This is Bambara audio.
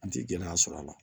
An ti gɛlɛya sɔr'a la